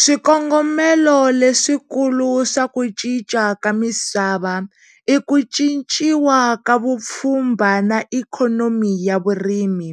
Swikongomelo leswikulu swa ku cinca ka misava i ku cinciwa ka vupfhumba na ikhonomi ya vurimi,